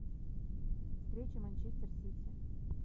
встреча манчестер сити